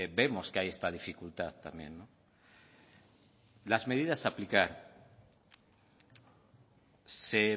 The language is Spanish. vemos que hay esta dificultad también las medidas a aplicar se